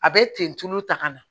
A bɛ ten tu tulu ta ka na